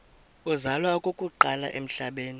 uzalwa okokuqala emhlabeni